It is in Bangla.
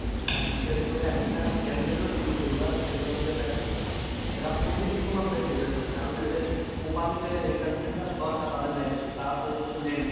হ্যাঁ বিশেষ করে এখনকার young generation যেগুলো সেগুলোর দিকে তাকান এরা অতিরিক্ত মাত্রায় depression এ কারণ এদের properly যে entertainment টা দরকার তাদের life এ তারা ততটুকু নেই না।